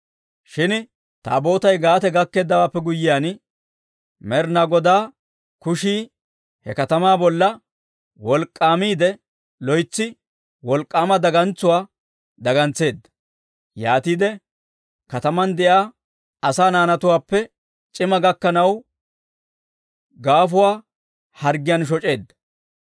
Shin Taabootay Gaate gakkeeddawaappe guyyiyaan, Med'inaa Godaa kushii he katamaa bolla wolk'k'aamiidde, loytsi wolk'k'aama dagantsuwaa dagantseedda; yaatiide kataman de'iyaa asaa naanatuwaappe c'imaa gakkanaw gaafuwaa harggiyaan shoc'eedda.